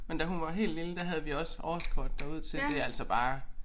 Men da hun var helt lille der havde vi også årskort derud til det altså bare